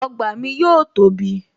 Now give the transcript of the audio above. Ọgbà mi yóò tóbi